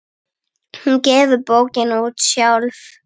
Hún gefur bókina út sjálf.